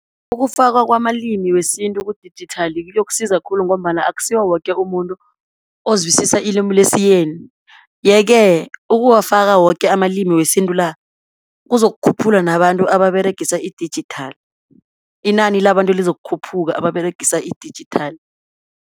Ukufakwa kwamalimi wesintu kudijithali kuyokusiza khulu, ngombana akusiwo woke umuntu ozwisisa ilimu lesiyeni. Ye-ke ukuwafaka woke amalimi wesintu la, kuzokukhuphula nabantu ababeregisa idijithali, inani labantu lizokukhuphuka ababeregisa idijithali.